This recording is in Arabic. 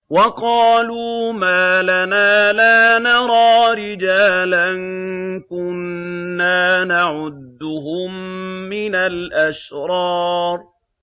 وَقَالُوا مَا لَنَا لَا نَرَىٰ رِجَالًا كُنَّا نَعُدُّهُم مِّنَ الْأَشْرَارِ